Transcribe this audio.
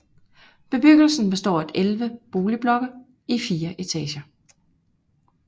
Bebyggelsen består af 11 boligblokke i 4 etager